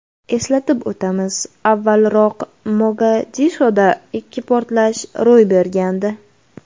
Eslatib o‘tamiz, avvalroq Mogadishoda ikki portlash ro‘y bergandi.